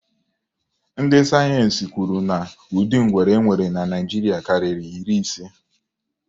Ndị sayensi kwuru na ụdị ngwere e nwere na Naịjiria karịrị iri ise.